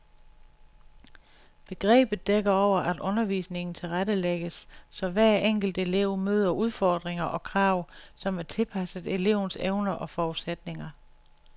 Begrebet dækker over, at undervisningen tilrettelægges, så hver enkelt elev møder udfordringer og krav, som er tilpasset elevens evner og forudsætninger.